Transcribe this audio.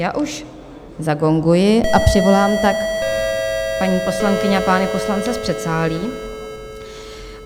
Já už zagonguji a přivolám tak paní poslankyně a pány poslance z předsálí.